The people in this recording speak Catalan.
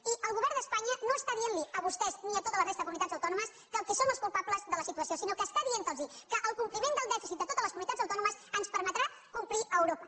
i el govern d’espanya no està dient li a vostès ni a tota la resta de comunitats autònomes que són els culpables de la situació sinó que està dient los que el compliment del dèficit de totes les comunitats autònomes ens permetrà complir a europa